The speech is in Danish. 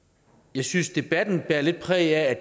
jeg synes at debatten bærer lidt præg af